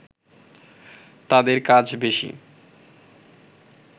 তাদের কাজ বেশি